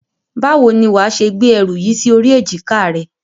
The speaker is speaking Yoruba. Báwo ni wàá ṣe gbé ẹrù yìí sí orí èjìká rẹ?